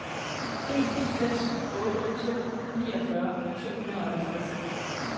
en seks otte to niogfyrre to hundrede og halvtreds